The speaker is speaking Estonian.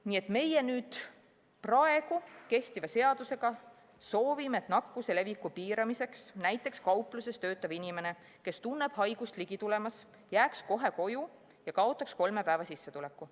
Nii et praegu kehtiva seadusega me soovime, et nakkuse leviku piiramiseks jääks näiteks kaupluses töötav inimene, kes tunneb haigust ligi tulemas, kohe koju ja kaotaks kolme päeva sissetuleku.